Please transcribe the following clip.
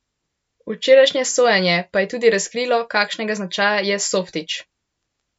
Včerajšnje sojenje pa je tudi razkrilo, kakšnega značaja je Softić.